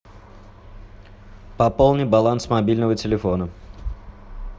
пополни баланс мобильного телефона